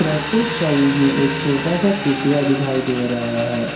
प्रस्तुत छवि में एक छोटा सा कुटिया दिखाई दे रहा है।